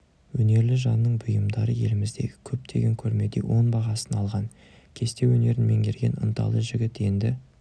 өнерлі жанның бұйымдары еліміздегі көптеген көрмеде оң бағасын алған кесте өнерін меңгерген ынталы жігіт енді